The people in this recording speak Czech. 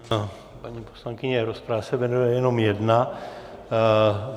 Paní poslankyně rozprava se vede jenom jedna.